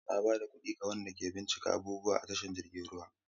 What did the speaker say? Na ba da kuɗi ga wanda ke bincika abubuwa a tashar jiragen ruwa.